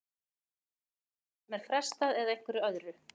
Er það í aðgerðum sem er frestað eða einhverju öðru?